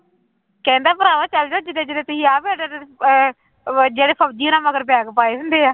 ਕਹਿੰਦਾ ਭਰਾਵੋ ਚਲੇ ਜਾਓ ਜਿੱਡੇ ਜਿੱਡੇ ਤੁਸੀਂ ਆਪ ਓਡੇ ਓਡੇ ਅਹ ਜਿਹੜੇ ਫ਼ੋਜ਼ੀ ਹੋਣਾਂ ਮਗਰ ਬੈਗ ਪਾਏ ਹੁੰਦੇ ਆ